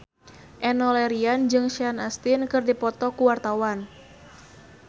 Enno Lerian jeung Sean Astin keur dipoto ku wartawan